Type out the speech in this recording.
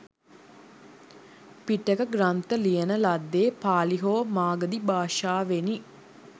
පිටක ග්‍රන්ථ ලියන ලද්දේ පාලි හෝ මාගධි භාෂාවෙනි.